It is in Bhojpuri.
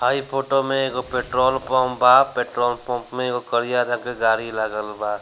हई फोटो में एगो पेट्रोल पंप बा पेट्रोल पंप में एगो करिया रंग के गाड़ी लागल बा।